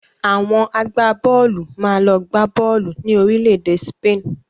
Awọn àgbábọ́ọ̀lù máa lọ gbá bọ́ọ̀lù ni Orílẹ̀-èdè Spain